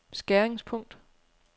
skæringspunkt